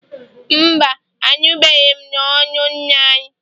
Mba, anụbeghị m n'ọnụ nna anyị